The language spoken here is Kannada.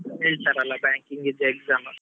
ಹೇಳ್ತಾರಲ್ಲ banking ಇದ್ exam .